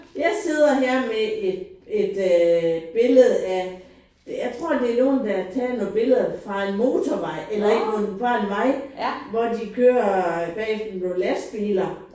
Jeg sidder her med et et øh billede af det jeg tror det er nogen der har taget nogle billeder fra en motorvej eller ikke kun fra en vej hvor de kører bagefter nogle lastbiler